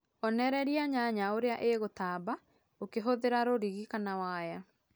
onererĩa nyanya ũrĩa ĩgũtamba ũkĩhũthĩra rũrĩgĩ kana waya